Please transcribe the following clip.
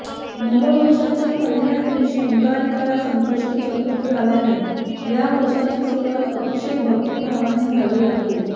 नववर्षाच्या पहिल्याच दिवशी अंगारकी संकष्टी चतुर्थी आल्याने ह्या वर्षाची सुरवात अतिशय भक्तीभावाने झाली आहे